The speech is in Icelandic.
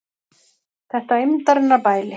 Þetta eymdarinnar bæli!